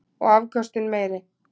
Og afköstin meiri.